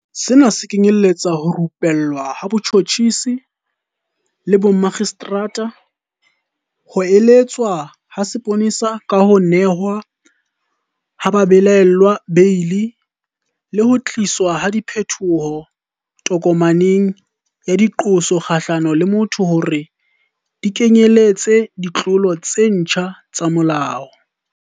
Sena se kenyeletsa ho rupellwa ha batjhotjhisi le bomakgistrata, ho eletswa ha mapolesa ka ho nehwa ha babelaellwa beili, le ho tliswa ha diphetoho tokomaneng ya diqoso kgahlano le motho hore di kenyeletse ditlolo tse ntjha tsa molao.